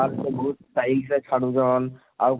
ବାଳ କେ ବହୁତ style ସେ ଛାଡ଼ୁଛନ ଆଉ?